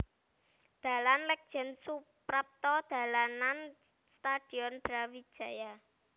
Dalan Lètjén Soeprapto dalanan Stadion Brawijaya